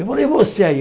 Ele falou, e você aí?